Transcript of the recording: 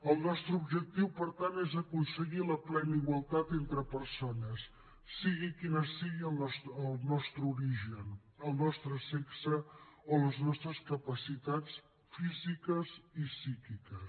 el nostre objectiu per tant és aconseguir la plena igualtat entre persones sigui quin sigui el nostre origen el nostre sexe o les nostres capacitats físiques i psíquiques